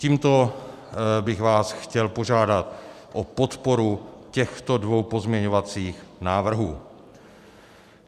Tímto bych vás chtěl požádat o podporu těchto dvou pozměňovacích návrhů.